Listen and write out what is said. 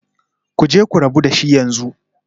Ku je ku rabu da shi yanzu